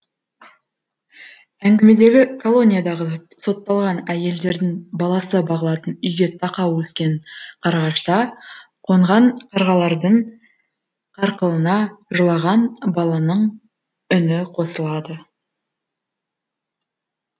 әңгімедегі колониядағы сотталған әйелдердің баласы бағылатын үйге тақау өскен қарағашта қонған қарғалардың қарқылына жылаған баланың үні қосылады